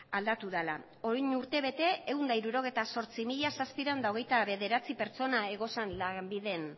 aldatu dela orain urtebete ehun eta hirurogeita zortzi mila zazpiehun eta hogeita bederatzi pertsona zeuden lanbiden